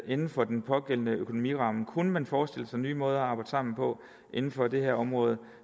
inden for den pågældende økonomiramme kunne man forestille sig nye måder at arbejde sammen på inden for det her område